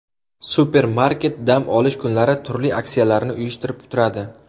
Supermarket dam olish kunlari turli aksiyalarni uyushtirib turadi.